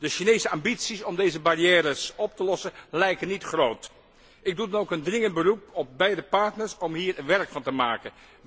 De Chinese ambities om deze barrières op te lossen, lijken niet groot. Ik doe dan ook een dringend beroep op beide partners om hier werk van te maken.